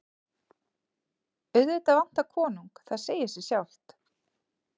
Auðvitað vantar konung, það segir sig sjálft.